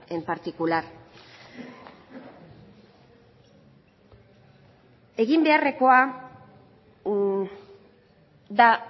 en particular egin beharrekoa da